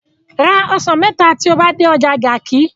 Ra osan mẹta ti o ba de ọja Garki